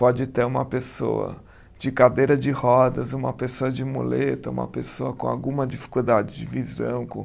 Pode ter uma pessoa de cadeira de rodas, uma pessoa de muleta, uma pessoa com alguma dificuldade de visão. Com